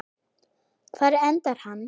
Hvar endar hann?